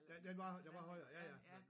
Den den var den var højere ja ja